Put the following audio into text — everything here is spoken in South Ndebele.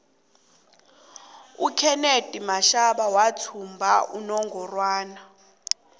ukenethi mashaba wathumba inongorwana